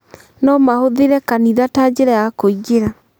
No mahũthĩre kanitha ta njĩra ya kũingĩra.